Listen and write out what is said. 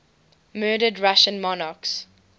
murdered russian monarchs